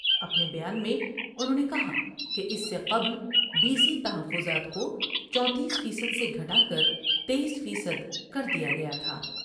اپنے بیان میں انہوں نے کہا کہ اس سے قبل بی سی تحفظات کو چونتیس فیصد سے گھٹا کر تییس فیصد کر دیا گیا تھا ۔